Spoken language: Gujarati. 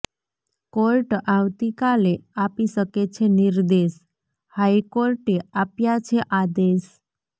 કોર્ટ આવતીકાલે આપી શકે છે નિર્દેશ હાઈકોર્ટે આપ્યા છે આદેશ